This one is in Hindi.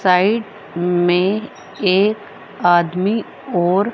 साइड में एक आदमी और--